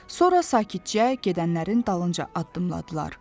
Sonra sakitcə gedənlərin dalınca addımladılar.